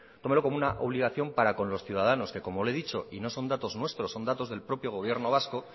tómelo como una obligación para con los ciudadanos que como le he dicho y nos son datos nuestros son datos del propio gobierno vasco